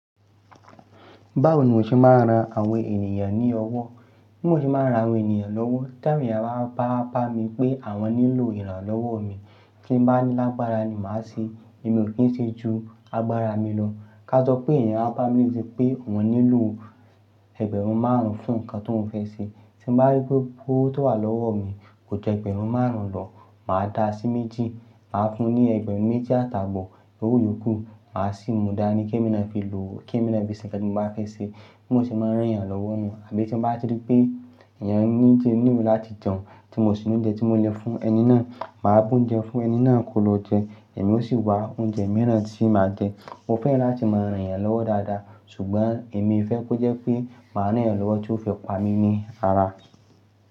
Báwo ni mo ṣe máa ń ran àwọn ènìyàn ní ọwọ́? Bí mo ṣe máa ń ran àwọn ènìyàn lówó, tẹ́ awon eyan bá bá mí pé àwọn nílò ìrànlọ́wọ́ mi, tí mo bá ní lágbára ni màá ṣe èmi ò kí ń ṣe ju agbára mi lọ. Káà sọ pé èèyàn wá bá mi ní pé ọ́un nílò ẹgbẹ̀rún márùn-ún fún nǹkan tó ń fẹ́ ṣe, tí mo bá rí pé owó tó wà lọ́wọ́ mi kò ju ẹgbẹ̀rún márùn-ún lọ̀, màá dáa sí méjì, màá fún un ní ẹgbẹ̀rún méjì àtàbọ̀ owo yòókù, màá sì múdáni ní kí ẹ̀miná fi lò ó, kí ẹ̀miná fi ṣe nǹkan tí mo bá fẹ́ ṣe. Bí mo ṣe máa ń ràn yàn lọ́wọ́ nu. Àbí tí mo bá ti rí pé èèyàn ní ń jẹ nílẹ̀ láti jẹun, tí mo sì ní oúnjẹ tí mo lè fún ẹni náà, màá bú oúnjẹ fún ẹni náà kó lọ jẹ, èmi ó sì wá oúnjẹ mìíràn tí màá jẹ. Mo fẹ́ràn láti máa ràn yàn lọ́wọ́ dáadáa, ṣùgbọ́n èmi fẹ́ kó jẹ́ pé màá ràn yàn lọ́wọ́ tí ó fẹ́ pa mí ní ara.